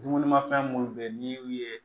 Dumunimafɛn minnu bɛ yen n'i y'u ye